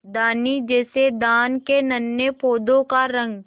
धानी जैसे धान के नन्हे पौधों का रंग